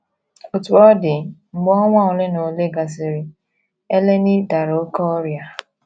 Otú ọ dị, mgbe ọnwa ole na ole gasịrị, Eleni dara oké ọrịa.